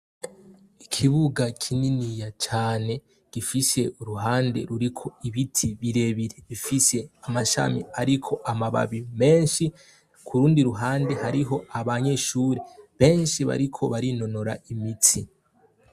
Ikibuga kininiya cane gifise uruhande ruriko ibiti birebire bifise amashami ariko amababi menshi ,ku rundi ruhande hariho abanyeshure benshi bariko barinonora imitsi.